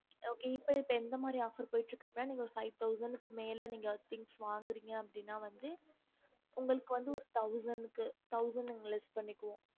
ம் okay இப்போ எந்த மாரி offer போய்ட்டு இருக்குன்னு ந five thousand மேல வன்கணாக்கனா அவங்களுக்கு thousand கிடக்கும்